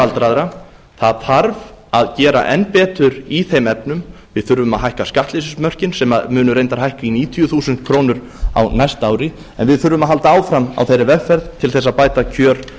aldraðra það þarf að gera enn betur í þeim efnum við þurfum að hækka skattleysismörkin sem munu reyndar hækka í níutíu þúsund krónur á næsta ári en við þurfum að halda áfram á þeirri vegferð til þess að bæta kjör